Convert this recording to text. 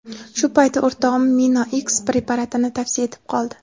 Shu payti o‘rtog‘im MinoX preparatini tavsiya etib qoldi.